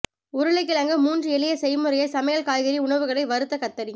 உருளைக்கிழங்கு மூன்று எளிய செய்முறையை சமையல் காய்கறி உணவுகளை வறுத்த கத்தரி